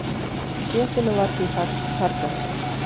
Kjötinu var því fargað.